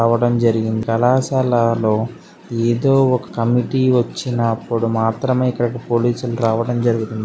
రావడం జరిగింది కళాశాలలో ఏదో ఒక కమిటీ వచ్చినప్పుడు మాత్రమే ఇక్కడికి పోలీసులు రావడం జరిగింది.